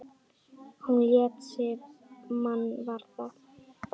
Hún lét sig mann varða.